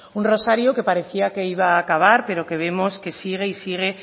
un rosario que parecía que iba a acabar pero que vemos que sigue y sigue